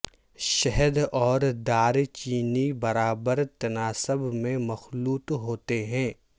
شہد اور دار چینی برابر تناسب میں مخلوط ہوتے ہیں